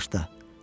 Bağışla,